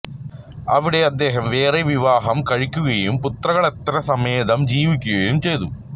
അവിടെ അദ്ദേഹം വേറെ വിവാഹം കഴിക്കുകയും പുത്രകളത്ര സമേതം ജീവിക്കുകയും ചെയ്തു